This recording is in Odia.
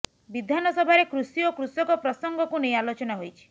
ବିଧାନସଭାରେ କୃଷି ଓ କୃଷକ ପ୍ରସଙ୍ଗକୁ ନେଇ ଆଲୋଚନା ହୋଇଛି